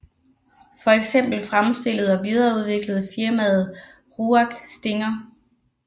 For eksempel fremstillede og videreudviklede firmaet RUAG Stinger